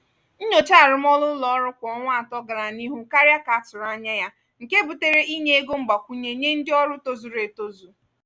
nnyocha arụmọrụ ụlọ ọrụ kwa ọnwa atọ gara n’ihu karịa ka atụrụ anya nke butere inye ego mgbakwunye nye ndị ọrụ tozuru etozu.